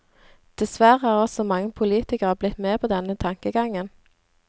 Dessverre er også mange politikere blitt med på denne tankegangen.